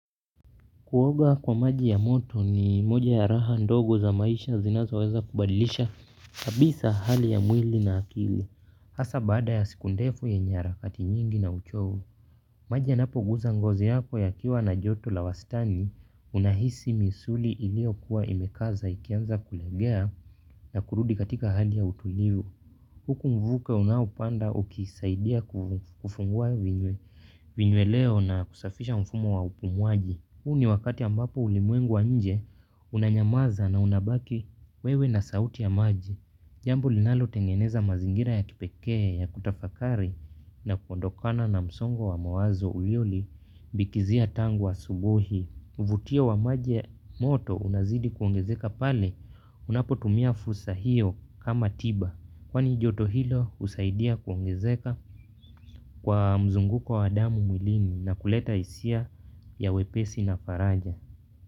Kuoga kwa maji ya moto ni moja ya raha ndogo za maisha zinazoweza kubadilisha kabisa hali ya mwili na akili. Hasa baada ya siku ndefu yenye harakati nyingi na uchovu. Maji yanapoguza ngozi yako yakiwa na joto la wastani unahisi misuli iliokuwa imekaza ikianza kulegea na kurudi katika hali ya utulivu. Huku mvuke unaoupanda ukisaidia kufungua vinyweleo na kusafisha mfumo wa upumwaji. Huu ni wakati ambapo ulimwengu wa nje unanyamaza na unabaki wewe na sauti ya maji. Jambo linalo tengeneza mazingira ya kipekee ya kutafakari na kuondokana na msongo wa mawazo uliolibikizia tangu asubuhi. Vutio wa maji moto unazidi kuongezeka pale unapotumia fursa hiyo kama tiba. Kwani joto hilo husaidia kuongezeka kwa mzunguko wa damu mwilini na kuleta hisia ya wepesi na faraja.